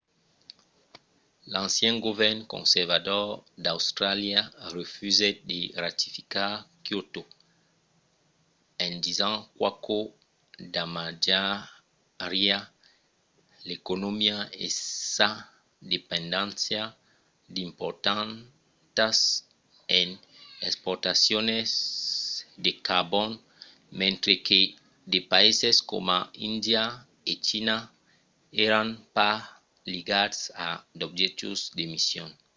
l’ancian govern conservador d’austràlia refusèt de ratificar kyoto en disent qu'aquò damatjariá l’economia e sa dependéncia importantas en exportacions de carbon mentre que de païses coma índia e china èran pas ligats a d'objectius d'emissions